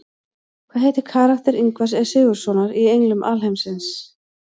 Hvað heitir karakter Ingvars E Sigurðssonar í Englum alheimsins?